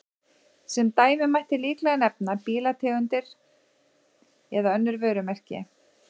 Sem dæmi mætti líklega nefna bílategundir eða önnur vörumerki.